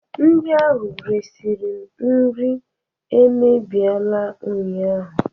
Ndị ahụ resịrị m nri emebiela ụnyahụ